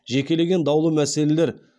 жекелеген даулы мәселелер